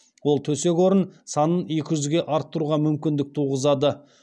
ол төсек орын санын екі жүзге арттыруға мүмкіндік туғызады